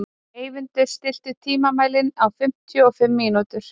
Eyvindur, stilltu tímamælinn á fimmtíu og fimm mínútur.